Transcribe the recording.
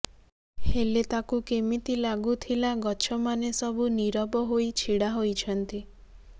ହେଲେ ତାକୁ କେମିତି ଲାଗୁଥିଲା ଗଛମାନେ ସବୁ ନୀରବ ହୋଇ ଛିଡ଼ା ହୋଇଛନ୍ତି